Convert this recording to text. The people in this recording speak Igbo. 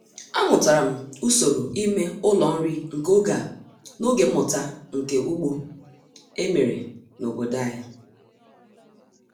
Amụtara m usoro ime ụlọ nri nke oge a n'oge mmụta nka ugbo e mere n'obodo anyị.